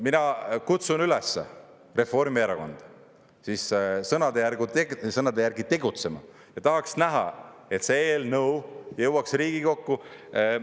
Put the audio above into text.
Mina kutsun üles Reformierakonda siis sõnade järgi tegutsema ja tahaks näha, et see eelnõu jõuaks Riigikokku.